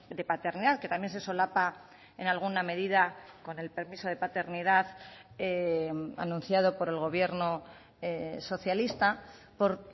de paternidad que también se solapa en alguna medida con el permiso de paternidad anunciado por el gobierno socialista por